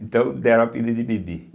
Então deram o apelido de Bibi.